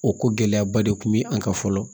O ko gɛlɛyaba de kun bɛ an kan fɔlɔ